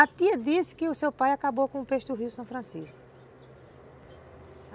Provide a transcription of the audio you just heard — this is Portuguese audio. A tia disse que o seu pai acabou com o peixe do rio São Francisco.